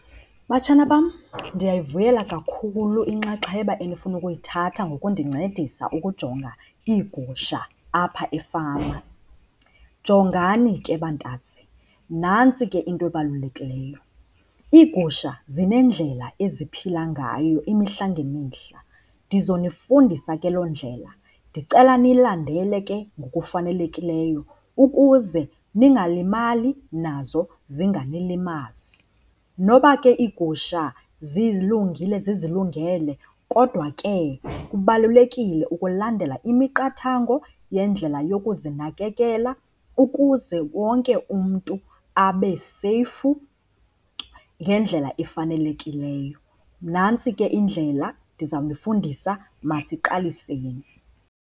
Batshana bam, ndiyayivuyela kakhulu inxaxheba enifuna ukuyithatha ngokundincedisa ukujonga iigusha apha efama. Jongani ke, bantase, nantsi ke into ebalulekileyo, iigusha zinendlela eziphila ngayo imihla ngemihla. Ndizonifundisa ke loo ndlela, ndicela niyilandele ke ngokufanelekileyo ukuze ningalimali nazo zinganilimazi. Noba ke iigusha zilungile zizilungele kodwa ke kubalulekile ukulandela imiqathango yendlela yokuzinakekela ukuze wonke umntu abeseyfu ngendlela efanelekileyo. Nantsi ke indlela ndizawunifundisa, masiqaliseni.